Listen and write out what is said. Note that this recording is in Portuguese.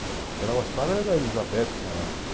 Que ela gostava era da, que morava aqui.